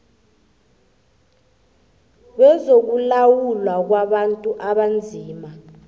wezokulawulwa kwabantu abanzima